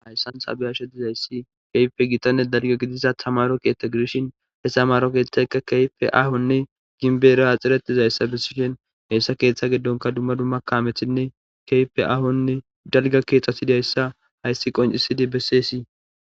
hayssan sabeyashe dizayssi keyfe gitanne dalga gidiza tamaro keethta girshin hessamaro keeththayka keyfe ahonne ginbeera haxxiretizayssa bessishen heessa keeththa geddonka dumma dumma kamethinne kefe ahonne dalga keeththasidayssa hayssi qoncisidi besseesi